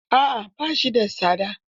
A'a ba shi da tsada.